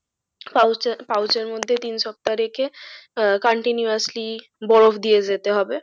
Pouch এর pouch এর মধ্যে তিন সপ্তাহ রেখে আহ contuniously বরফ দিয়ে যেতে হবে।